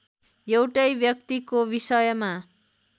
एउटै व्यक्तिको विषयमा